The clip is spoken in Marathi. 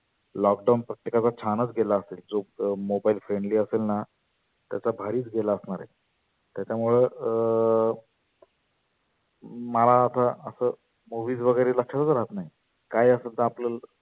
lockdown प्रत्येकाचा छानच गेला असेल. जो mobile friendly असेलना त्याचा भारीच गेला असणार आहे. त्याच्यामुळ अं मला आता असं movies वगैरे लक्षातच राहत नाही. काही असं आपल